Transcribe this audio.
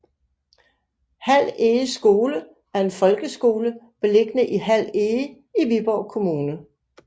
Hald Ege Skole er en folkeskole beliggende i Hald Ege i Viborg Kommune